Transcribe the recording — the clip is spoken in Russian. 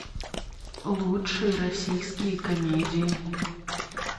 лучшие российские комедии